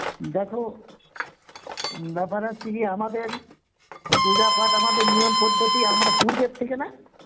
দেখো ব্যাপার হচ্ছে কি আমাদের পূজা পাট আমাদের নিয়ম পদ্ধতি আমরা পূর্বের থেকে না